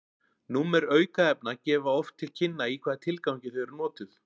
númer aukefna gefa oft til kynna í hvaða tilgangi þau eru notuð